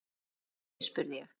Hvað áttu við spurði ég.